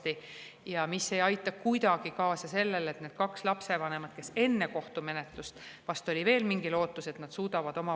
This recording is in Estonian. Ning ei aita kuidagi kaasa sellele, et need kaks lapsevanemat suudavad omavahel koostööd teha lapse kasvatamiseks.